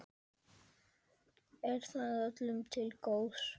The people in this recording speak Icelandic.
Er það öllum til góðs?